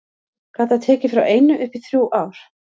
Gat það tekið frá einu upp í þrjú ár.